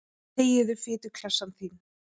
Þegiðu, fituklessan þín.